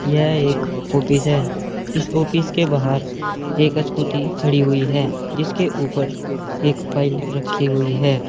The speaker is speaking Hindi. यह एक ऑफिस है इस ऑफिस के बाहर एक स्कूटी खड़ी हुई है जिसके ऊपर एक फाइल रखी हुई है।